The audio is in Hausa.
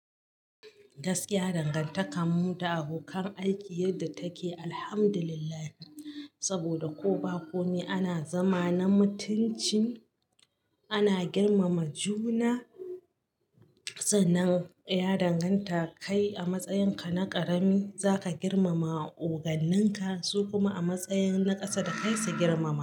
Gaskiya dangantaka mun da abokan aiki yadda take alhamdulillah saboda ko ba komi ana zama na mutunci ana girmama juna. Sannan ya danganta kai a matsayin ka na ƙarami za ka girmama oganin ka su kuma a matsayin na ƙasa da kai su girmama.